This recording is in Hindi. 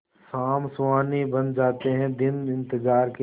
शाम सुहानी बन जाते हैं दिन इंतजार के